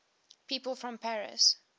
people from paris